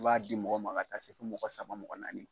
I b'a di mɔgɔ ma ka taa se fo mɔgɔ saba mɔgɔ naani.